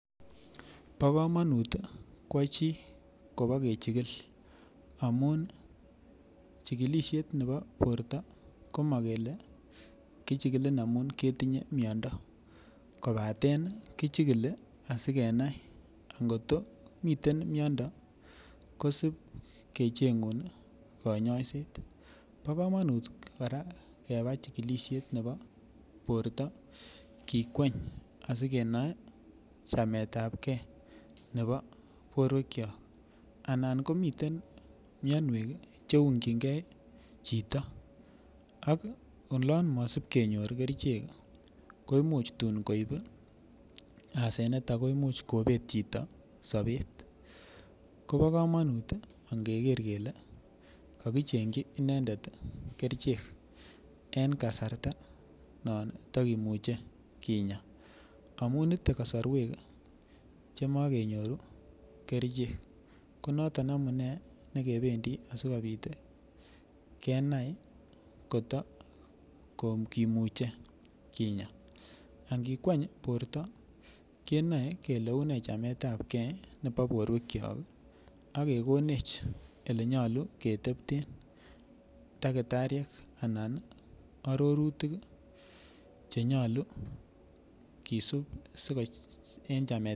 Bo komonut kwo chi kobikechigil amun chikilishet nebo borto ko makele kichikilin amun ketinye miyondo kobaten kichikili asikenai ngoto mitei miyondo kosip kecheng'un kanyoiset bo kamanut kora kebab chikilishet nebo borto kikweny asikenai chametab gei nebo bortowek chon anan komiten miyonwek cheung'chingei chito ak olon masip kenyor kerichek ko imuuch tuun koib asenet ako imuuch kobet chito sobet kobo kamanut angeker kele kakicheng'chi inendet kerichek en kasarta non tikemuchie kinya amun itei kasorwek che makenyoru kerichek ko noton amune nekebendi asikobit kenai koto kimuchei Kinya angikweny borto kenoei kele une chametab gei nebo bortowek chon akekonech ole nyolu ketepten dakitariek anan arorutik chenyolu kisup